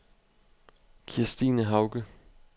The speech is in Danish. Kirstine Hauge